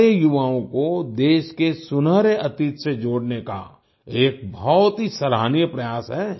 हमारे युवाओं को देश के सुनहरे अतीत से जोड़ने का यह एक बहुत ही सराहनीय प्रयास है